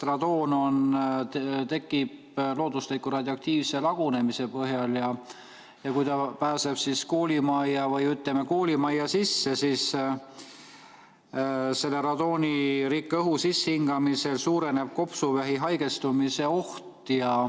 Radoon tekib loodusliku radioaktiivse lagunemise põhjal, ja kui ta pääseb koolimajja sisse, siis selle radoonirikka õhu sissehingamisel suureneb kopsuvähki haigestumise oht.